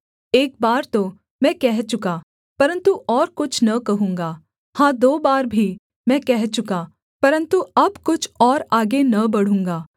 एक बार तो मैं कह चुका परन्तु और कुछ न कहूँगा हाँ दो बार भी मैं कह चुका परन्तु अब कुछ और आगे न बढ़ूँगा